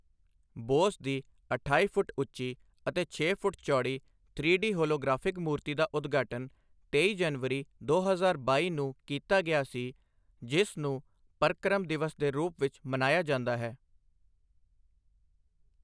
ਬੋਸ ਦੀ ਅਠਾਈ ਫੁੱਟ ਉੱਚੀ ਅਤੇ ਛੇ ਫੁੱਟ ਚੌੜੀ ਥ੍ਰੀ ਡੀ ਹੋਲੋਗ੍ਰਾਫਿਕ ਮੂਰਤੀ ਦਾ ਉਦਘਾਟਨ ਤੇਈ ਜਨਵਰੀ ਦੋ ਹਜ਼ਾਰ ਬਾਈ ਨੂੰ ਕੀਤਾ ਗਿਆ ਸੀ, ਜੀਸ ਨੂੰ ਪਰਕਰਮ ਦਿਵਸ ਦੇ ਰੂਪ ਵਿੱਚ ਮਨਾਇਆ ਜਾਂਦਾ ਹੈ।